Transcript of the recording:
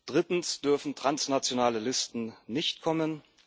Drittens dürfen transnationale Listen nicht kommen.